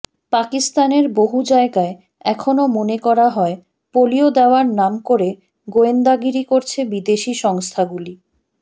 পাকিস্তানের বহু জায়গায় এখনও মনে করা হয় পোলিও দেওয়ার নাম করে গোয়েন্দাগিরি করছে বিদেশি সংস্থাগুলি